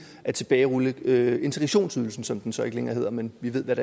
at tilbagerulle integrationsydelsen som den så ikke længere hedder men vi ved hvad